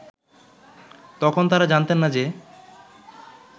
তখন তারা জানতেন না যে